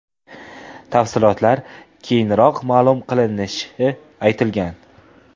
Tafsilotlar keyinroq ma’lum qilinishi aytilgan.